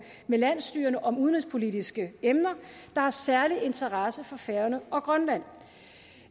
med landsstyrerne om udenrigspolitiske emner der har særlig interesse for færøerne og grønland